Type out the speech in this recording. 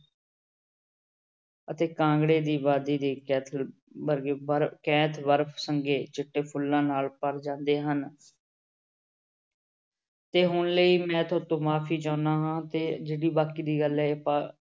ਅਤੇ ਕਾਂਗੜੇ ਦੀ ਵਾਦੀ ਦੀ ਕੈਥਲ ਵਰਗੀ ਵਰ ਚਿੱਟੇ ਫੁੱਲਾਂ ਨਾਲ ਭਰ ਜਾਂਦੇ ਹਨ ਤੇ ਹੁਣ ਲਈ ਮੈਂ ਤੁਹਾਡੇ ਤੋਂ ਮਾਫ਼ੀ ਚਾਹੁੰਦਾ ਹਾਂ ਤੇ ਜਿਹੜੀ ਬਾਕੀ ਦੀ ਗੱਲ ਹੈ ਆਪਾਂ